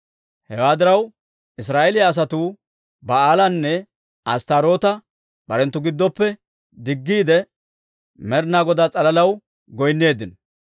Hewaa diraw, Israa'eeliyaa asatuu Ba'aalanne Asttaaroota barenttu giddoppe diggiide, Med'inaa Godaa s'alalaw goynneeddino.